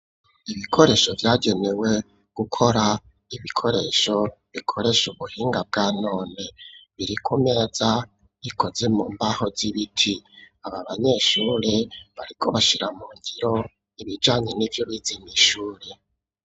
Ibikoresho vyagenewe gukora, ibikoresho bikoresha ubuhinga bwa none birikumeza ikoze mu mbaho z'ibiti, ababanyeshuri bariko bashira mu ngiro ibijanye n'ivyo bize mw'ishuri.